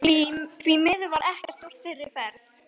Því miður varð ekkert úr þeirri ferð.